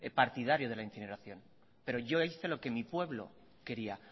partidario de la incineración pero yo hice lo que mi pueblo quería